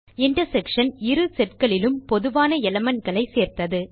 intersection இரு setகளிலும் பொதுவான elementகளைச் சேர்த்தது